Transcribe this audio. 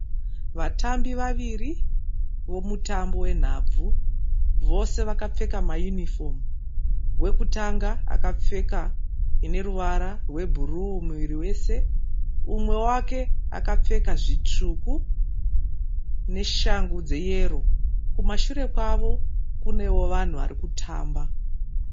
Vatambi vaviri vomutambo wenhabvu. Vose vakapfeka ma yunifomu. Wekutanga akepfeka ineruvara rwe bhuruu muviri wese. Umwe wake akapfeka zvitsvuku neshangu dze yero. Kumashure kwavo kunewo vanhu vari kutamba.